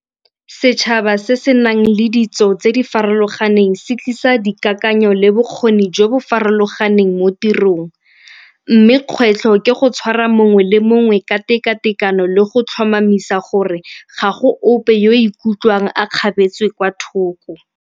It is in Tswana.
Setšhaba se se nang le ditso tse di farologaneng se tlisa dikakanyo le bokgoni jo bo farologaneng mo tirong mme kgwetlho ke go tshwara mongwe le mongwe ka tekatekano le go tlhomamisa gore gago ope yo o ikutlwang a kgapetswe kwa thoko.